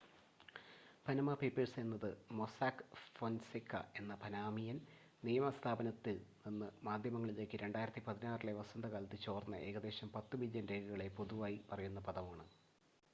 """Panama papers എന്നത് Mossack Fonseca എന്ന Panamanian നിയമ സ്ഥാപനത്തിൽ നിന്ന് മാധ്യമങ്ങളിലേക്ക് 2016-ലെ വസന്തകാലത്ത് ചോർന്ന ഏകദേശം പത്ത് മില്യൺ രേഖകളെ പൊതുവായി പറയുന്ന പദമാണ്.